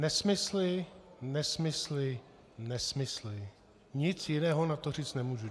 Nesmysly, nesmysly, nesmysly, nic jiného na to říct nemůžu.